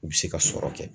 U bɛ se ka sɔrɔ kɛ